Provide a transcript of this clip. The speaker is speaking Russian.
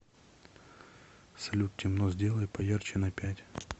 салют темно сделай поярче на пять